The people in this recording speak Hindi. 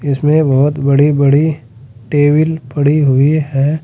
इसमें बहोत बड़ी बड़ी टेबिल पड़ी हुई है।